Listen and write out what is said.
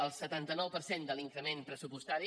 el setanta nou per cent de l’increment pressupostari